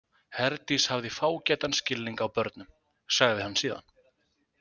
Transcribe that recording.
Herdís hafði fágætan skilning á börnum, sagði hann síðan.